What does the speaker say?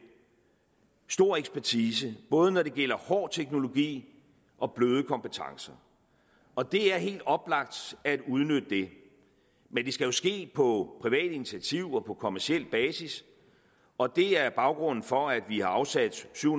stor ekspertise både når det gælder hård teknologi og bløde kompetencer og det er helt oplagt at udnytte det men det skal jo ske på privat initiativ og på kommerciel basis og det er baggrunden for at vi har afsat syv